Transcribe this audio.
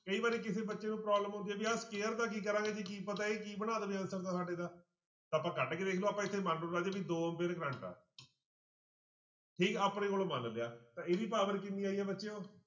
ਕਈ ਵਾਰੀ ਕਿਸੇ ਬੱਚੇ ਨੂੰ problem ਹੁੰਦੀ ਆ ਵੀ ਆਹ square ਦਾ ਕੀ ਕਰਾਂਗੇ ਜੀ ਕੀ ਪਤਾ ਇਹ ਕੀ ਬਣਾ ਦੇਵੇ answer ਦਾ ਸਾਡੇ ਦਾ, ਆਪਾਂ ਕੱਢ ਕੇ ਦੇਖ ਲਓ ਆਪਾਂ ਇੱਥੇ ਮੰਨ ਲਓ ਰਾਜੇ ਵੀ ਦੋ ਤੇ depend ਆ ਠੀਕ ਆਪਣੇ ਕੋਲੋਂ ਮੰਨ ਲਿਆ ਤਾਂ ਇਹਦੀ power ਕਿੰਨੀ ਆਈ ਹੈ ਬੱਚਿਓ